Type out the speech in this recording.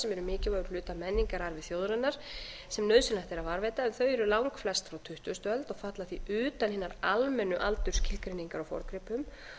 mikilvægur hluti af menningararfi þjóðarinnar sem nauðsynlegt er að varðveita en þau eru langflest frá tuttugustu öld og falla því utan hinnar almennu aldursskilgreiningar á forngripum